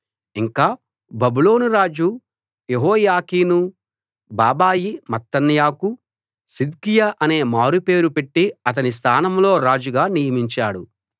ఇంకా బబులోను రాజు యెహోయాకీను బాబాయి మత్తన్యాకు సిద్కియా అనే మారుపేరు పెట్టి అతని స్థానంలో రాజుగా నియమించాడు